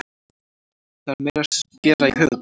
Það er meira að gera í höfuðborginni.